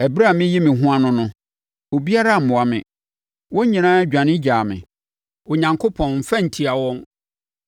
Ɛberɛ a mereyi me ho ano no, obiara ammoa me. Wɔn nyinaa dwane gyaa me. Onyankopɔn mmfa nntia wɔn.